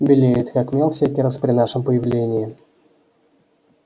белеет как мел всякий раз при нашем появлении